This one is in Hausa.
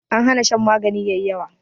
An hana shan magani yayi yawa